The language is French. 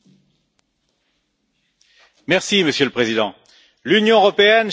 Monsieur le Président, l'Union européenne cherche à se présenter comme l'Europe des valeurs.